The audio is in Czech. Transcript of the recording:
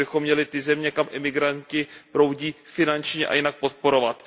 A my bychom měli ty země, kam migranti proudí, finančně i jinak podporovat.